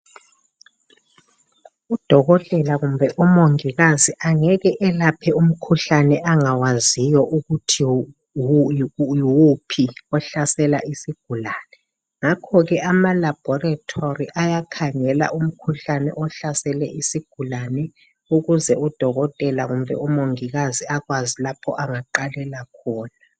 Udokotela kumbe umongikazi angeke elaphe umkhuhlane angawaziyo ukuthi yiwuphi ohlasela isigulane, ngakho ke ama laboratory ayakhangela umkhuhlane ohlasele isigulane ukuze udokotela kumbe umongikazi akwazi lapho angaqalela khona